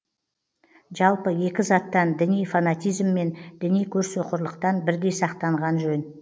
жалпы екі заттан діни фанатизм мен діни көрсоқырлықтан бірдей сақтанған жөн